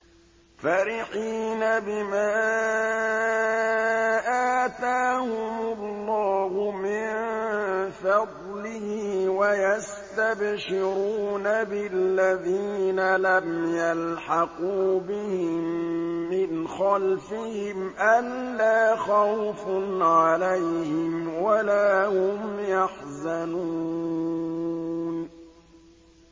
فَرِحِينَ بِمَا آتَاهُمُ اللَّهُ مِن فَضْلِهِ وَيَسْتَبْشِرُونَ بِالَّذِينَ لَمْ يَلْحَقُوا بِهِم مِّنْ خَلْفِهِمْ أَلَّا خَوْفٌ عَلَيْهِمْ وَلَا هُمْ يَحْزَنُونَ